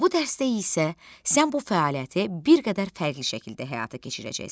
Bu dərsdə isə sən bu fəaliyyəti bir qədər fərqli şəkildə həyata keçirəcəksən.